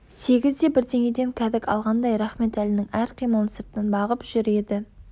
сегіз де бірдеңеден кәдік алғандай рахметәлінің әр қимылын сырттан бағып жүр еді